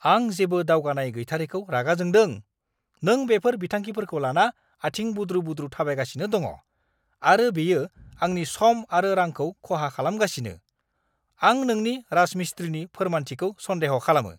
आं जेबो दावगानाय गैथारैखौ रागा जोंदों। नों बेफोर बिथांखिफोरखौ लाना आथिं बुद्रु-बुद्रु थाबायगासिनो दङ आरो बेयो आंनि सम आरो रांखौ खहा खालामगासिनो; आं नोंनि राजमिस्ट्रिनि फोरमानथिखौ सन्देह' खालामो!